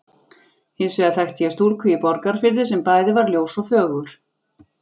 Hins vegar þekkti ég stúlku í Borgarfirði sem bæði var ljós og fögur.